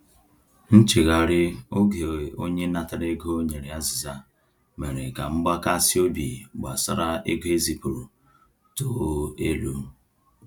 Nchegharị oge onye natara ego nyere azịza mere ka mgbakasị obi gbasara ego ezipụrụ too elu.